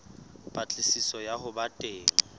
patlisiso ya ho ba teng